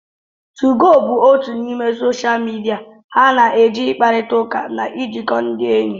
2go bụ otu n'ime soshal midia ha na eji ịkparịta ụka na ijikọ ndị enyi